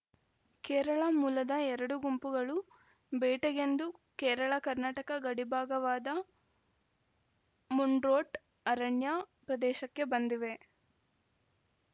ಕೇರಳ ಮೂಲದ ಎರಡು ಗುಂಪುಗಳು ಬೇಟೆಗೆಂದು ಕೇರಳಕರ್ನಾಟಕ ಗಡಿಭಾಗವಾದ ಮುಂಡ್ರೋಟ್‌ ಅರಣ್ಯ ಪ್ರದೇಶಕ್ಕೆ ಬಂದಿವೆ